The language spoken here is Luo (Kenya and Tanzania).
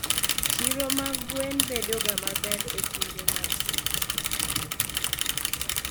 chiro mar gwen bedo ga maber e kinde mag skuku